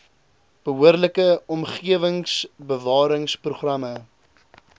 behoorlike omgewingsbewarings programme